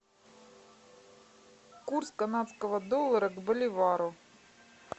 курс канадского доллара к боливару